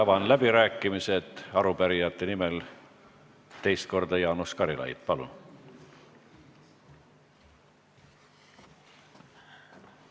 Avan läbirääkimised ja arupärijate nimel teist korda Jaanus Karilaid, palun!